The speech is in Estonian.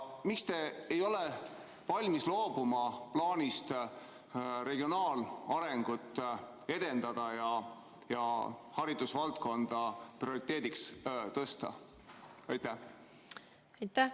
Miks te ei ole valmis loobuma plaanist regionaalarengut edendada ja haridusvaldkonda prioriteediks tõsta?